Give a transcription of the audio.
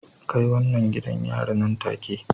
Kai wannan gidan yari nan take